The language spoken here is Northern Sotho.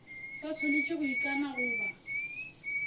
ba swanetše go ikana goba